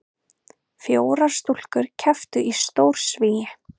Fjórar stúlkur kepptu í stórsvigi